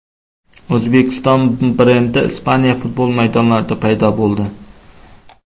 O‘zbekiston brendi Ispaniya futbol maydonlarida paydo bo‘ldi!